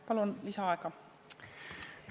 Palun lisaaega!